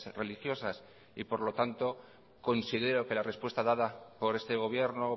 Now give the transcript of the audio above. religiosas y por lo tanto considero que la respuesta dada por este gobierno